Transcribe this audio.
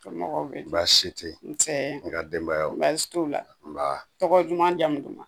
Somɔgɔ bɛ di baasi tɛ yen nse i nka denbayaw baasi t'u la nba tɔgɔ duman jamu duman ma